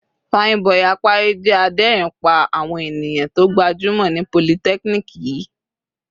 Fine boi Apari jẹ́ adérin pá àwọn ènìyàn tó gbajúmọ̀ ní polytechnic yìí.